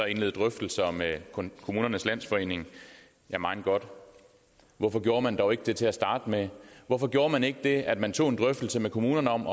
indlede drøftelser med kommunernes landsforening ja mein gott hvorfor gjorde man dog ikke det til at starte med hvorfor gjorde man ikke det at man tog en drøftelse med kommunerne om